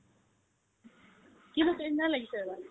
কি হৈছে লাগিছে আৰু